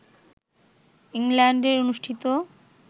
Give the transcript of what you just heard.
ইংল্যান্ডে অনুষ্ঠিত